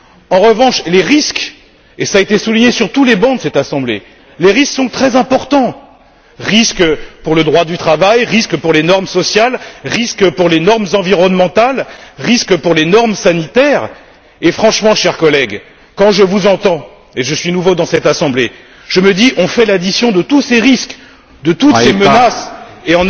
En revanche, les risques, et cela a été souligné sur tous les bancs de cette Assemblée, les risques sont très importants risques pour le droit du travail, risques pour les normes sociales, risques pour les normes environnementales, risques pour les normes sanitaires et franchement, chers collègues, quand je vous entends et je suis nouveau dans cette Assemblée je me dis que si on fait l'addition de tous ces risques, de toutes ces menaces et